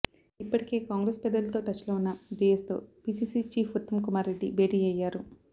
ఇప్పటికే కాంగ్రెస్ పెద్దలతో టచ్లో ఉన్న డీఎస్తో పీసీసీ చీఫ్ ఉత్తమ్ కుమార్ రెడ్డి భేటి అయ్యారు